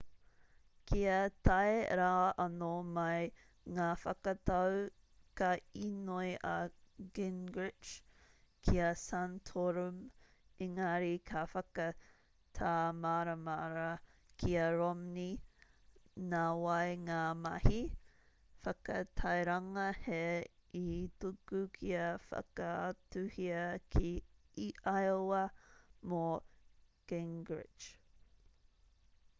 kia tae rā anō mai ngā whakatau ka īnoi a gingrich ki a santorum engari ka whakatāmaramara ki a romney nā wai ngā mahi whakatairanga hē i tuku kia whakaatuhia ki iowa mō gingrich